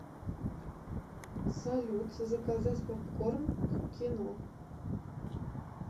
салют заказать попкорн к кино